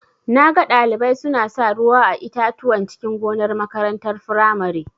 Naga Ɗalibai suna sa ruwa a itatuwan cikin gonar makarantar firamare.